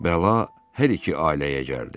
Bəla hər iki ailəyə gəldi.